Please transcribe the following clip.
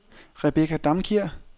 Rebecca Damkjær